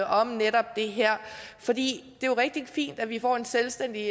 om netop det her for det jo rigtig fint at vi får en selvstændig